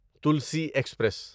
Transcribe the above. Tulsi express